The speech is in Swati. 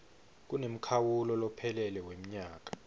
kunemkhawulo lophelele wemnyaka